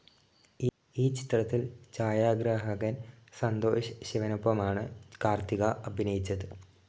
ഈ ചിത്രത്തിൽ ഛായാഗ്രാഹകൻ സന്തോഷ് ശിവനൊപ്പമാണ് കാർത്തിക അഭിനയിച്ചത്.